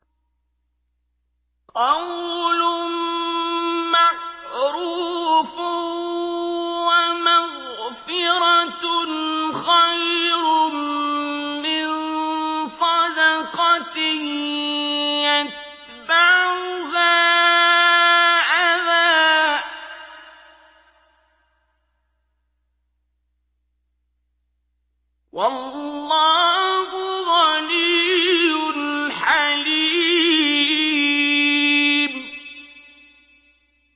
۞ قَوْلٌ مَّعْرُوفٌ وَمَغْفِرَةٌ خَيْرٌ مِّن صَدَقَةٍ يَتْبَعُهَا أَذًى ۗ وَاللَّهُ غَنِيٌّ حَلِيمٌ